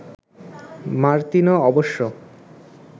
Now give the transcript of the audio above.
Martino অবশ্য